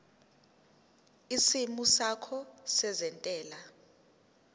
isimo sakho sezentela